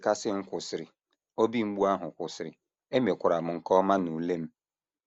Nchekasị m kwụsịrị, obi mgbu ahụ kwụsịrị, emekwara m nke ọma n’ule m.